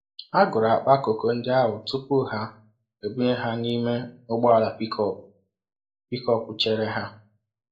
Ha gụrụ akpa koko ndị ahụ tupu ha ebunye ha n'ime ụgbọala pickup pickup chere ha.